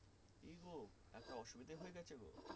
কি গো একটা অসুবিধা হয়ে গেছে গো